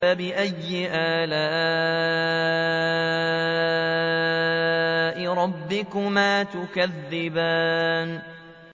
فَبِأَيِّ آلَاءِ رَبِّكُمَا تُكَذِّبَانِ